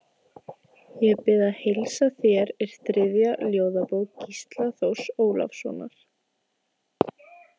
Ég bið að heilsa þér er þriðja ljóðabók Gísla Þórs Ólafssonar.